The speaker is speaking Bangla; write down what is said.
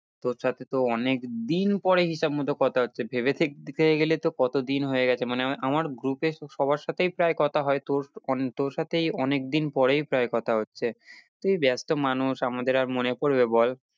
তোর সাথে তো অনেকদিন পরে হিসাব মতো কথা হচ্ছে ভেবে দেখতে গেলে তো কতদিন হয়ে গেছে মানে আমার group এ সবার সাথেই প্রায় কথা হয়ে তোর অন~ তোর সাথেই অনেকদিন পরেই প্রায় কথা হচ্ছে, তুই ব্যস্ত মানুষ আমাদের আর মনে পরবে বল।